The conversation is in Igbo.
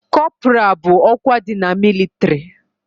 Kọpra bụ ọkwa dị na mịlịtrị